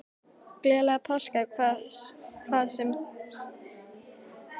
Gleðilega páska, hvað svo sem það þýðir.